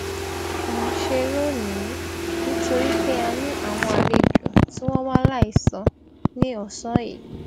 n ṣe lónìí nítorí pé a ní àwọn àlejò tí wọn wá láìsọ ní òsán yìí